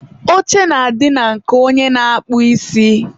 oche na-adị na nke onye na-akpụ isi.